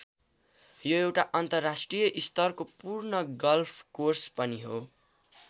यो एउटा अन्तर्राष्ट्रिय स्तरको पूर्ण गल्फकोर्स पनि हो।